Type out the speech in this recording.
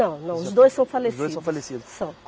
Não não, os dois são falecidos. Os dois são falecidos. São.